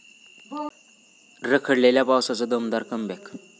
रखडलेल्या पावसाचं दमदार कमबॅक!